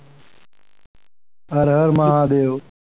હર હર મહાદેવ.